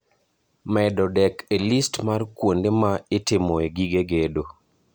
medo deck e list mar kuonde ma itimoe gige gedo